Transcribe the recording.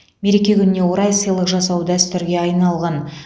мереке күніне орай сыйлық жасау дәстүрге айналған